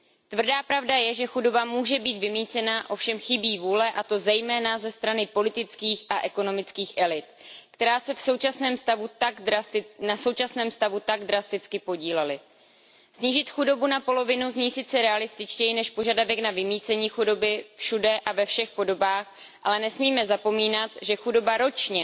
Tvrdá pravda je, že chudoba může být vymýcena, ovšem chybí vůle, a to zejména ze strany politických a ekonomických elit, které se na současném stavu tak drasticky podílely. Snížit chudobu na polovinu zní sice realističtěji než požadavek na vymýcení chudoby všude a ve všech podobách, ale nesmíme zapomínat, že chudoba ročně